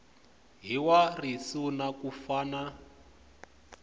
hi wa risuna ku fana